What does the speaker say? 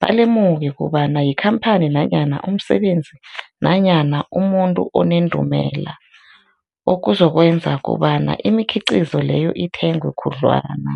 balemuke kobana yikhamphani nanyana umsebenzi nanyana umuntu onendumela, okuzokwenza kobana imikhiqhizo leyo ithengwe khudlwana.